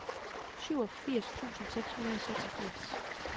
syvogfirs tusind seks hundrede og seksogfirs